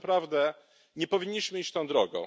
Z tym naprawdę nie powinniśmy iść tą drogą.